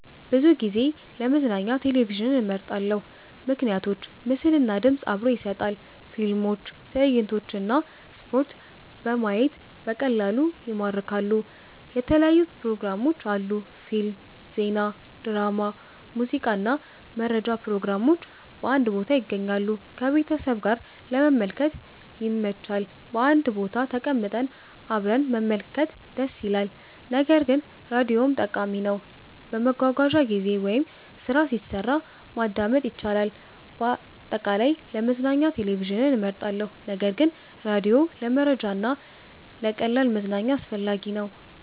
ብዙ ጊዜ ለመዝናኛ ቴሌቪዥንን እመርጣለሁ። ምክንያቶች ምስል እና ድምፅ አብሮ ይሰጣል – ፊልሞች፣ ትዕይንቶች እና ስፖርት በማየት በቀላሉ ይማርካሉ። የተለያዩ ፕሮግራሞች አሉ – ፊልም፣ ዜና፣ ድራማ፣ ሙዚቃ እና መረጃ ፕሮግራሞች በአንድ ቦታ ይገኛሉ። ከቤተሰብ ጋር ለመመልከት ይመች – በአንድ ቦታ ተቀምጠን አብረን መመልከት ደስ ይላል። ነገር ግን ራዲዮም ጠቃሚ ነው፤ በመጓጓዣ ጊዜ ወይም ስራ ሲሰራ ማዳመጥ ይቻላል። አጠቃላይ፣ ለመዝናኛ ቴሌቪዥን እመርጣለሁ ነገር ግን ራዲዮ ለመረጃ እና ለቀላል መዝናኛ አስፈላጊ ነው።